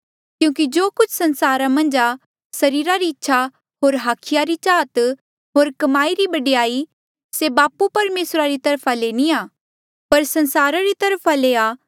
क्यूंकि जो कुछ संसारा मन्झ आ सरीरा ई इच्छा होर हाखिया चाहत होर कमाई रा बडयाई से बापू परमेसरा री तरफा ले नी आ पर संसारा री वखा ले ही आ